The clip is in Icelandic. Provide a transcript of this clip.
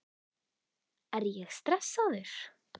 Er ég stressaður?